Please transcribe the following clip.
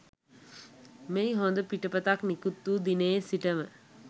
මෙහි හොඳ පිටපතක් නිකුත්වූ දිනයේ සිටම